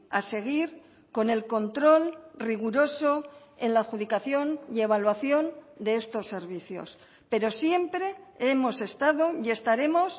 a seguir con el control riguroso en la adjudicación y evaluación de estos servicios pero siempre hemos estado y estaremos